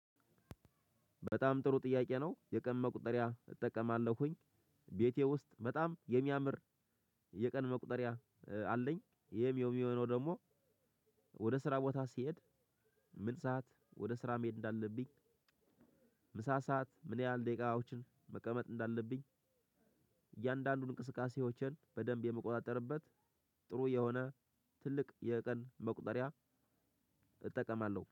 በጣም ጥሩ ጥያቄ ነው የቀን መቁጠሪያ እጠቀማለሁኝ። ቤቴ ውስጥ በጣም የሚያምር የቀን መቁጠሪያ አለኝ። ይሄም የሚሆነው ደግሞ ወደ ስራ ቦታ ስሄድ። ምን ሰዓት ወደ ስራ መሄድ እንዳለብኝ። ምሳ ሰዓት ምን ያህል ደቂቃዎችን መቀመጥ እንዳለብኝ። እያንዳንዱን እንቅስቃሴዎችን በደንብ የምቆጣጠርበት። ጥሩ የሆነ ትልቅ የቀን መቁጠሪያ እጠቀማለሁ